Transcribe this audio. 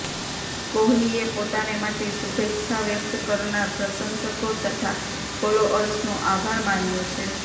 કોહલીએ પોતાને માટે શુભેચ્છા વ્યક્ત કરનાર પ્રશંસકો તથા ફોલોઅર્સનો આભાર માન્યો છે